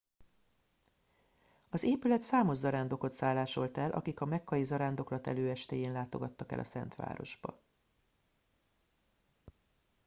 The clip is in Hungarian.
az épület számos zarándokot szállásolt el akik a mekkai zarándoklat előestéjén látogattak el a szent városba